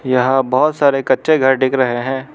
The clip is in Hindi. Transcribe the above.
यहां बहुत सारे कच्चे घर दिख रहे हैं।